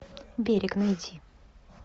берег найти